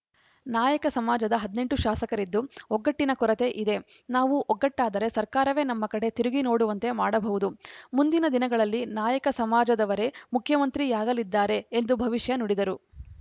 ನಾಯಕ ಸಮಾಜದ ಹದಿನೆಂಟು ಶಾಸಕರಿದ್ದು ಒಗ್ಗಟ್ಟಿನ ಕೊರತೆ ಇದೆ ನಾವು ಒಗ್ಗಟ್ಟಾದರೆ ಸರ್ಕಾರವೇ ನಮ್ಮ ಕಡೆ ತಿರುಗಿ ನೋಡುವಂತೆ ಮಾಡಬಹುದು ಮುಂದಿನ ದಿನಗಳಲ್ಲಿ ನಾಯಕ ಸಮಾಜದವರೇ ಮುಖ್ಯಮಂತ್ರಿಯಾಗಲಿದ್ದಾರೆ ಎಂದು ಭವಿಷ್ಯ ನುಡಿದರು